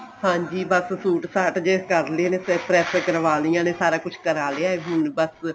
ਹਾਂਜੀ ਬੱਸ ਸੂਟ ਸਾਟ ਜੇ ਕਰਲੇ ਨੇ ਫ਼ਿਰ press ਕਰਵਾਲਿਆ ਨੇ ਸਾਰਾ ਕੁੱਝ ਕਰਾ ਕਰਾਲਿਆ ਹੁਣ ਬੱਸ